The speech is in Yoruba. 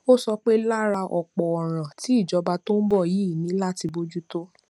ó sọ pé lára ọpọ òràn tí ìjọba tó ń bọ yìí ní láti bójú tó